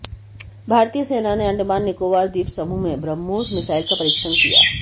भारतीय सेना ने अंडमान निकोबार द्वीप समूह में ब्रह्मोस मिसाइल का परीक्षण किया